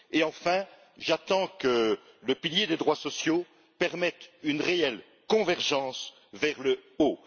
Et enfin, j'attends que le pilier des droits sociaux permette une réelle convergence vers le haut.